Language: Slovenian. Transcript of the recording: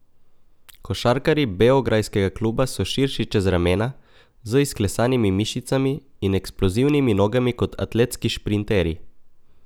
Košarkarji beograjskega kluba so širši čez ramena, z izklesanimi mišicami in eksplozivni nogami kot atletski šprinterji.